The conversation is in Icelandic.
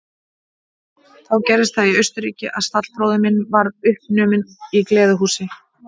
Þá gerðist það í Austurríki að stallbróðir minn varð uppnuminn í gleðihúsi.